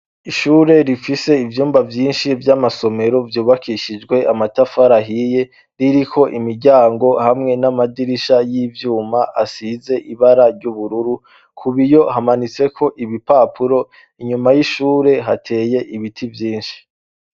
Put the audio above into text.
Ishure rifise ivyumba' vyinshi vy'amasomero vyubakishijwe amatafari ahiye, ririko imiryango hamwe n'amadirisha y'ivyuma asize ibara ryubururu. Ku biyo hamanitseko ibipapuro, inyuma y'ishure hateye ibiti vyinshi.